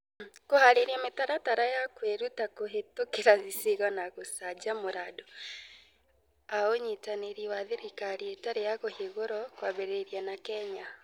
Kũhaarĩria mĩtaratara ya kwĩruta kũhĩtũkĩra icigo na gũcanjamũra andũ a Ũnyitanĩri wa Thirikari Ĩtarĩ ya Kũhingũra, kwambĩrĩria na Kenya.